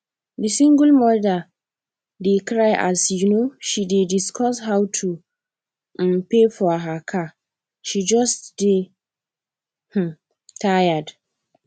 the single mother dey cry as um she dey discuss how to um pay for her car she just dey um tired